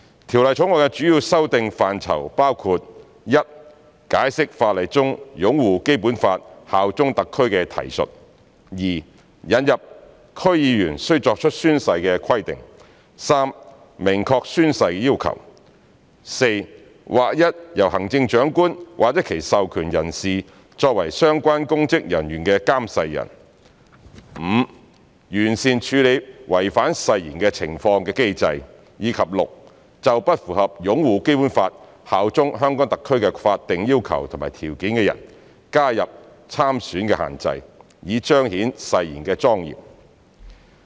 《條例草案》的主要修訂範疇包括：一解釋法例中"擁護《基本法》、效忠香港特區"的提述；二引入區議員須作出宣誓的規定；三明確宣誓要求；四劃一由行政長官或其授權人士作為相關公職人員的監誓人；五完善處理違反誓言的情況的機制；及六就不符合"擁護《基本法》、效忠香港特區"的法定要求和條件的人加入參選限制，以彰顯誓言的莊嚴。